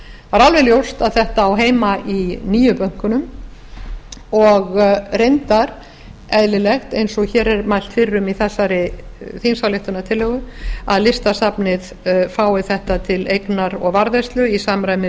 það er alveg ljóst að þetta á heima í nýju bönkunum og reyndar eðlilegt eins og hér er mælt fyrir um í þessari þingsályktunartillögu að listasafnið fái þetta til eignar og varðveislu í samræmi